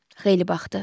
Xeyli baxdı.